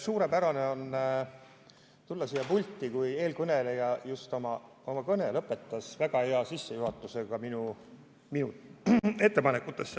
Suurepärane on tulla siia pulti, kui eelkõneleja just lõpetas oma kõne, juhatades väga hästi sisse minu ettepanekud.